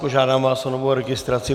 Požádám vás o novou registraci.